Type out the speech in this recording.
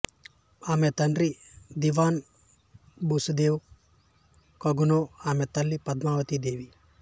ఆమె తండ్రి దివాన్ బసుదేవ్ కనుంగో ఆమె తల్లి పద్మావతి దేవి